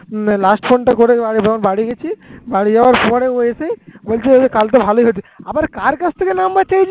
না last phone টা করে আমি যখন বাড়ি গেছি বাড়ি যাওয়ার সময় ও এসে বলছে কালকে ভালই হয়েছে। আবার কার কাছ থেকে number চেয়েছিস